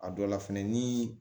A dɔ la fɛnɛ ni